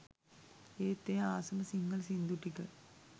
ඒත් එයා ආසම සිංහල සින්දු ටික